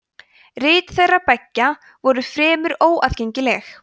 rit þeirra beggja voru fremur óaðgengileg